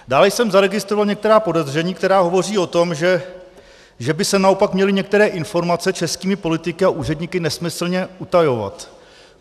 Dále jsem zaregistroval některá podezření, která hovoří o tom, že by se naopak měly některé informace českými politiky a úředníky nesmyslně utajovat.